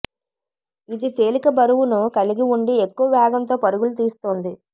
ఇది తేలిక బరువును కలిగి ఉండి ఎక్కువ వేగంతో పరుగులు తీస్తుంది